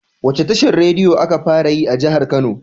Wacce tashar rediyo aka fara yi a jahar kano?